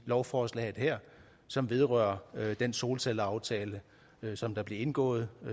lovforslaget her som vedrører den solcelleaftale som blev indgået